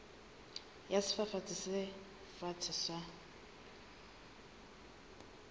ya sefafatsi se fatshe sa